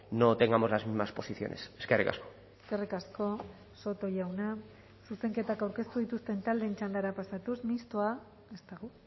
no tengamos las mismas posiciones eskerrik asko eskerrik asko soto jauna zuzenketak aurkeztu dituzten taldeen txandara pasatuz mistoa ez dago